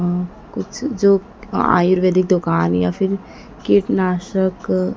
कुछ जो आयुर्वैदिक दुकान या फिर कीटनाशक--